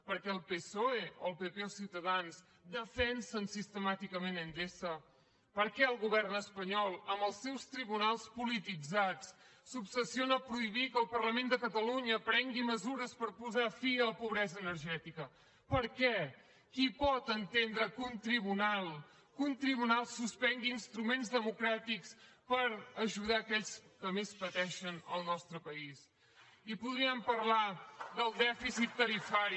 per què el psoe el pp o ciutadans defensen sistemàticament endesa per què el govern espanyol amb els seus tribunals polititzats s’obsessiona a prohibir que el parlament de catalunya prengui mesures per posar fi a la pobresa energètica per què qui pot entendre que un tribunal suspengui instruments democràtics per ajudar aquells que més pateixen al nostre país i podríem parlar del dèficit tarifari